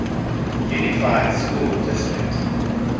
unified school district